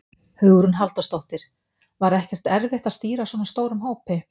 Hugrún Halldórsdóttir: Var ekkert erfitt að stýra svona stórum hópi?